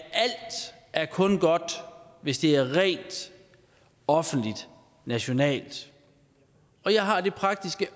alt kun er godt hvis det er rent offentligt og nationalt og jeg har det praktiske